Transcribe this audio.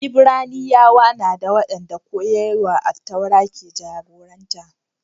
Ibraniyawa na dā, waɗanda koyarwar Attaura ke jagoranta